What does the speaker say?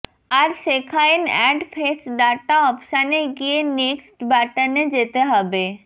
আর সেখাএন add face data অপশানে গিয়ে নেক্সট বাটনে যেতে হবে